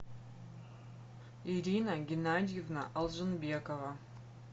ирина геннадьевна алжинбекова